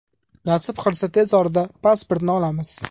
Nasib qilsa tez orada pasportni olamiz.